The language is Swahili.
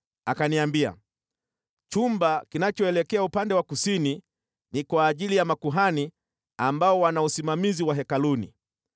Akaniambia, “Chumba kinachoelekea upande wa kusini ni kwa ajili ya makuhani ambao wana usimamizi wa hekaluni,